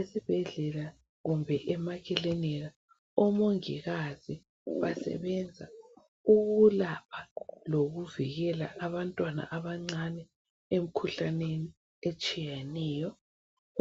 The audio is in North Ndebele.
Esibhedlela odokotela kanye labo mongikazi basenze ukulapha lokuvikela abantwana abancani emkhuhlaneni etshiyeneyo